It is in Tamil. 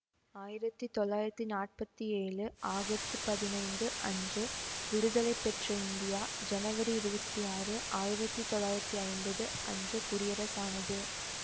ஆயிரத்தி தொள்ளாயிரத்தி நாற்பத்தி ஏழு ஆகத்து பதினைந்து அன்று விடுதலை பெற்ற இந்தியா ஜனவரி இருவத்தி ஆறு ஆயிரத்தி தொள்ளாயிரத்தி ஐம்பது அன்று குடியரசானது